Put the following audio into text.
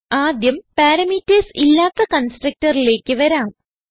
ആദ്യം പാരാമീറ്റർസ് ഇല്ലാത്ത constructorലേക്ക് വരാം